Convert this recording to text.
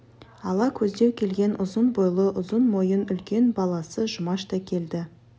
ала көздеу келген ұзын бойлы ұзын мойын үлкен баласы жұмаш та келді